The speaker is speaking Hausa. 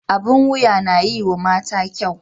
Abin wuya na yiwa mata kyau.